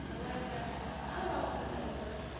morwarragwe a bag ole ba